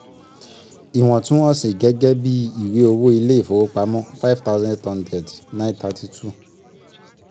iwọntún-wọnsì gẹ́gẹ́ bíi ìwé owó ilé ìfowopamọ́ 5800. 932